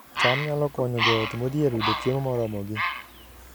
cham nyalo konyo joot modhier yudo chiemo moromogi